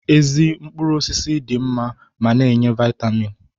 Ezi mkpụrụ osisi dị mma ma na-enye Vaịtamiin